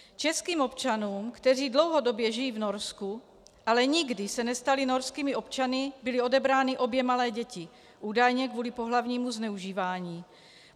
Českým občanům, kteří dlouhodobě žijí v Norsku, ale nikdy se nestali norskými občany, byly odebrány obě malé děti, údajně kvůli pohlavnímu zneužívání.